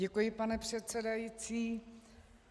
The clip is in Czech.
Děkuji, pane předsedající.